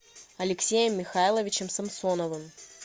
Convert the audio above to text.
алексеем михайловичем самсоновым